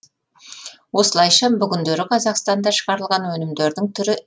осылайша бүгіндері қазақстанда шығарылған өнімдердің түрі